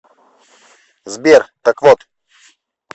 сбер так вот